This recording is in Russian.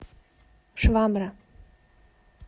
швабра